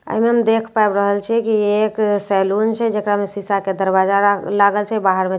एहि मे हम देख पाबि रहल छिए की एक सैलून छे जेकरा में शीशा के दरवाजा लागल छे बाहर में चेयर सभ रा --